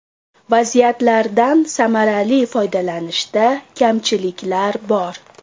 Vaziyatlardan samarali foydalanishda kamchiliklar bor.